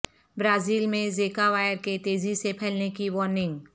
Brazil میں Zika وائر کے تیزی سے پھیلنے کی وارننگ